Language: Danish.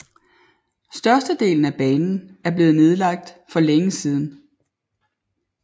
Størstedelen af banen er blevet nedlagt for længe siden